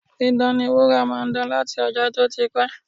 Dídán ni wúrà máa ń dán láti ọjọ́ tó ti pẹ́